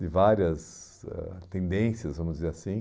de várias ãh tendências, vamos dizer assim.